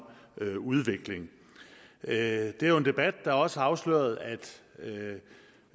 udvikling det er jo en debat der også har afsløret